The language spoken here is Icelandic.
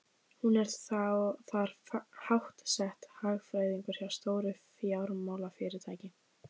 Hún er þar háttsett, hagfræðingur hjá stóru fjármálafyrirtæki.